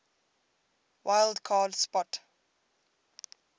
wild card spot